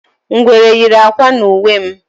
Ngwere yiri ákwà n'uwe m